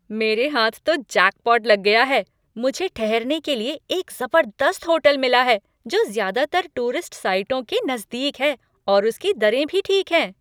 मेरे हाथ तो जैकपॉट लग गया है, मुझे ठहरने के लिए एक ज़बरदस्त होटल मिला है, जो ज़्यादातर टूरिस्ट साइटों के नज़दीक है और उसकी दरें भी ठीक हैं।